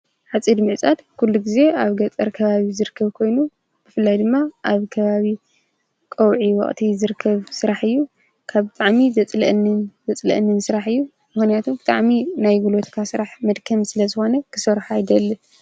ኃፂድ ምዕጻድ ኲሉ ጊዜ ኣብ ገጸር ከባቢ ዝርከብ ኮይኑ ብፍላይ ድማ ኣብ ከባቢ ቆውዒ ወቕቲ ዘርከብ ሥራሕ እዩ። ካብ ጥዕሚ ዘጽልአንን ዘጽልአንን ሥራሕ እዩ ምሆንያቱ ጥዕሚ ናይ ግሎትካ ሥራሕ መድከም ስለ ዝኾነ ክሠሩሖ ኣይደል።